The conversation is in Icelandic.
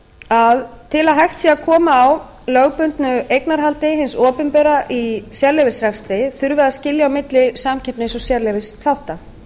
að til að hægt sé að koma á lögbundnu eignarhaldi hins opinbera í sérleyfisrekstri þurfi að skilja á milli samkeppnis og sérleyfisþátta